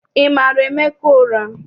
Ị mara Emeka ụra?